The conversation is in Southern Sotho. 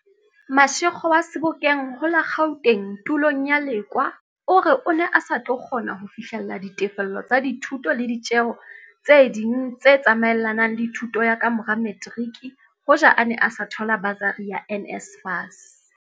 Mashego wa Sebokeng ho la Gauteng tulong ya Lekoa o re o ne a sa tlo kgona ho fihlella ditefello tsa dithuto le ditjeo tse ding tse tsa maelanang le thuto ya ka mora materiki hoja a ne a sa thola basari ya NSFAS.